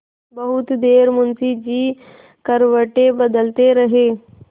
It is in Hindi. बहुत देर मुंशी जी करवटें बदलते रहे